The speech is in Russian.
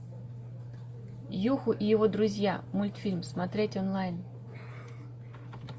юху и его друзья мультфильм смотреть онлайн